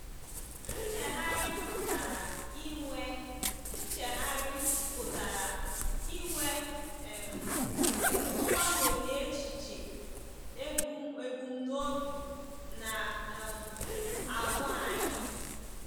Nchegharị pụtara inwe Nchegharị pụtara inwe um mgbanwe n’echiche, ebumnobi, na um àgwà anyị.